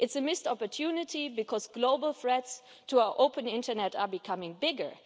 It's a missed opportunity because global threats to our open internet are becoming bigger.